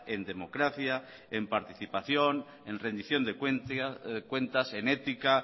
en democracia en participación en rendición de cuentas en ética